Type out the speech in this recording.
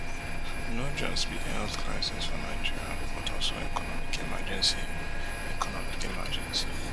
no just be health crisis for nigeria but also economic emergency economic emergency